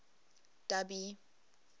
dubby